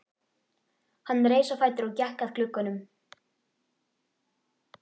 Hann reis á fætur og gekk að glugganum.